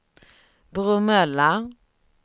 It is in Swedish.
Bromölla